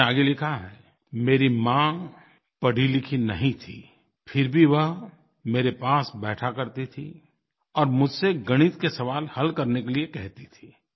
उन्होंने आगे लिखा है मेरी माँ पढ़ीलिखी नहीं थी फिर भी वह मेरे पास बैठा करती थी और मुझसे गणित के सवाल हल करने के लिये कहती थी